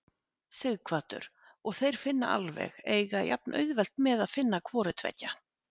Sighvatur: Og þeir finna alveg, eiga jafnauðvelt með að finna hvoru tveggja?